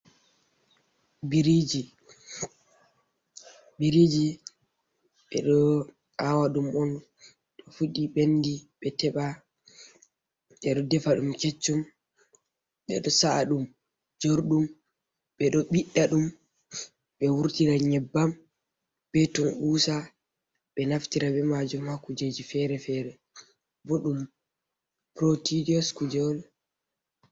Biriji. Biriji, ɓe ɗo awa ɗum on to fuɗi ɓendi ɓe teɓa, ɓe ɗo defa ɗum keccum, ɓe ɗo sa’a ɗum jorɗum, ɓe ɗo ɓiɗɗa ɗum ɓe wurtina nyebbam be tukusa, ɓe ɗo naftira be majum ha kujeji fere-fere. Boɗɗum protidiyos kuje on.